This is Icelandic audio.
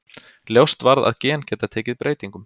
Ljóst varð að gen geta tekið breytingum.